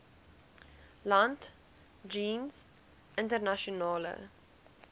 land jeens internasionale